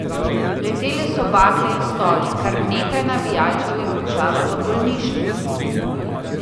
Letele so bakle in stoli, kar nekaj navijačev je končalo v bolnišnici.